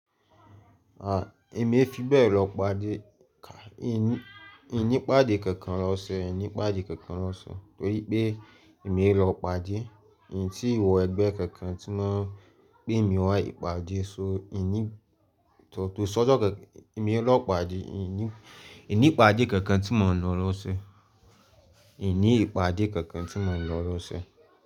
Èmi e fi bẹ lọ ipàdé, ìn ni ipàdé kankan lọ́sẹ̀, ìní pàdé kankan lọ́sẹ̀, torí pé èmi e lọ ipàdé, ìn ti wọ ẹgbẹ́ kankan ti wọn pe mi wá ìpàdé, so ko sójọ́ kankan, èmi e lọ pàdé, ìn ni pàdé kankan tí mò ń lọ lọ́sẹ̀. Ìní ìpàdé kankan tí mò ń lọ lọ́sẹ̀.